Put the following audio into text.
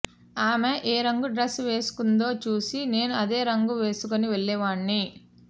ఆమె ఏ రంగు డ్రెస్ వేసుకుందో చూసి నేనూ అదే రంగు వేసుకొని వెళ్లేవాణ్ని